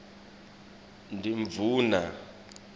ngimdvuna